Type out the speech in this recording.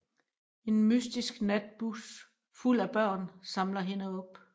En mystisk natbus fuld af børn samler hende op